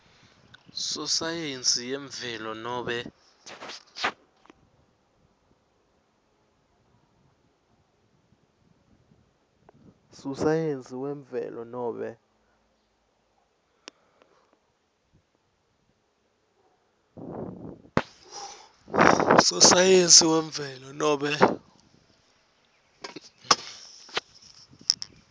sosayensi yemvelo nobe